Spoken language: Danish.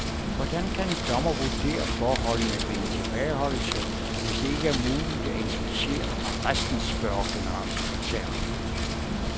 Hvordan kan en dommmer vurdere forholdene ved en tilbageholdelse, hvis det ikke er muligt at inspicere arresten, spørger generalsekretæren?